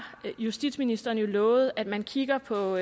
justitsministeren jo lovet at man kigger på